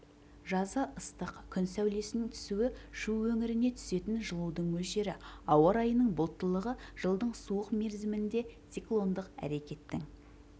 жазы ыстық күн сәулесінің түсуі шу өңіріне түсетін жылудың мөлшері ауа райының бұлттылығы жылдың суық мерзімінде циклондық әрекеттің